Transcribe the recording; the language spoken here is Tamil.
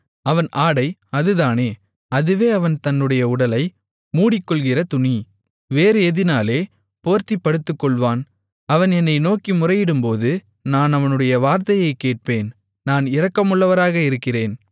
அவன் ஆடை அதுதானே அதுவே அவன் தன்னுடைய உடலை மூடிக்கொள்ளுகிற துணி வேறு எதினாலே போர்த்திப் படுத்துக்கொள்ளுவான் அவன் என்னை நோக்கி முறையிடும்போது நான் அவனுடைய வார்த்தையைக் கேட்பேன் நான் இரக்கமுள்ளவராக இருக்கிறேன்